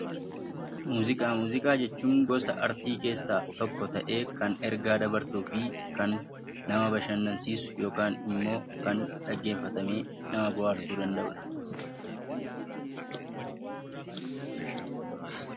Muuziqaa jechuun gosa aartii keessaa tokko ta'ee kan ergaa dabarsuu fi kan nama bashannansiisu yookiin immoo kan dhaggeeffatamee nama bohaarsudha.